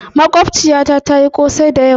mogbaciyata tayi Kosai da yamma.